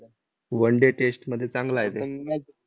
Oneday test मध्ये चांगला आहे ते.